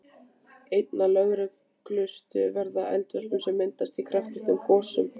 Einna lögulegust verða eldvörp sem myndast í kraftlitlum gosum.